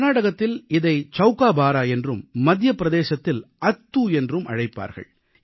கர்நாடகத்தில் இதை சவுக்காபாரா என்றும் மத்திய பிரதேசத்தில் அத்தூ என்றும் அழைப்பார்கள்